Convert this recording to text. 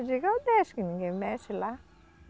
Eu digo, eu deixo que ninguém mexe lá.